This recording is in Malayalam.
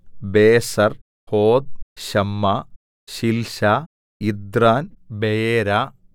ബേസെർ ഹോദ് ശമ്മാ ശിൽശാ യിഥ്രാൻ ബെയേരാ